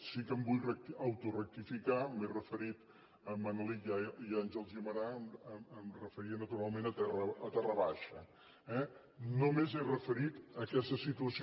sí que em vull autorectificar m’he referit a manelic i a àngel guimerà em referia naturalment a terra baixa eh només he referit aquesta situació